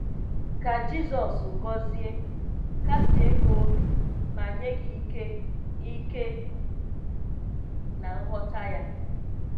Ka Jizọs gọzie, kasie gị obi ma nye gị ike, ike na nghọta Ya.